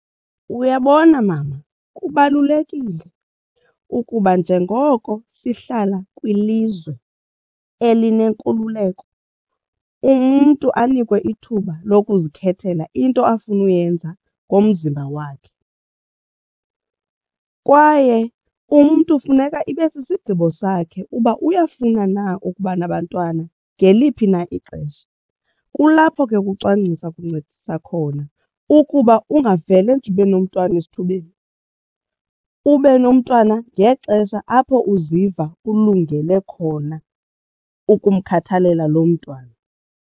Uyabona mama kubalulekile ukuba njengoko sihlala kwilizwe elinenkululeko umntu anikwe ithuba lokuzikhethela into afuna uyenza ngomzimba wakhe kwaye umntu funeka ibe sisigqibo sakhe uba uyafuna na ukuba nabantwana ngeliphi na ixesha. Kulapho ke ukucwangcisa kuncedisa khona ukuba ungavele nje ube nomntwana esithubeni ube nomntwana ngexesha apho uziva ulungele khona ukumkhathalela lo mntwana.